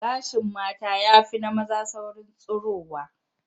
Gashin mata ya fi na maza saurin tsirowa